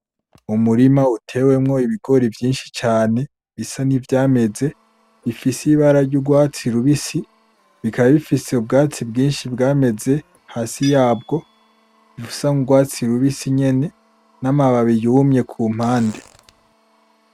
Umurima utewemwo ibigori vyinshi cane bisa nivyameze, bifise ibara ry'urwatsi rubisi, bikaba bifise ubwatsi bwinshi bwameze hasi yabwo, busa n'urwatsi rubisi nyene, n'amababi yumye ku mpande.